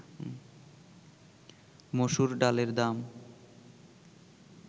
মসুর ডালের দাম